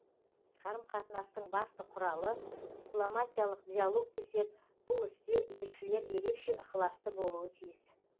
қарым қатынастың басты құралы дипломатиялық диалог десек бұл істе елшілер ерекше ықыласты болуы тиіс